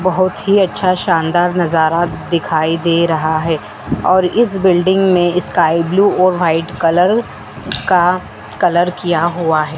बहोत ही अच्छा शानदार नजारा दिखाई दे रहा है और इस बिल्डिंग में स्काई ब्लू और व्हाइट कलर का कलर किया हुआ है।